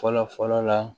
Fɔlɔ fɔlɔ la